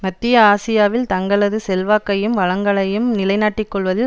மத்திய ஆசியாவில் தங்களது செல்வாக்கையும் வளங்களையும் நிலைநாட்டிக்கொள்வதில்